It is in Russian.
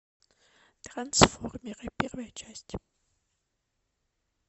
трансформеры первая часть